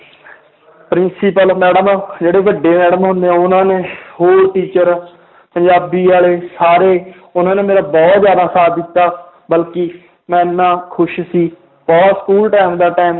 principal madam ਜਿਹੜੇ ਵੱਡੇ madam ਹੁੰਦੇ ਆ ਉਹਨਾਂ ਨੇ ਹੋਰ teacher ਪੰਜਾਬੀ ਵਾਲੇ ਸਾਰੇ ਉਹਨਾਂ ਨੇ ਮੇਰਾ ਬਹੁਤ ਜ਼ਿਆਦਾ ਸਾਥ ਦਿੱਤਾ ਬਲਕਿ ਮੈਂ ਇੰਨਾ ਖ਼ੁਸ਼ ਸੀ ਉਹ school time ਦਾ time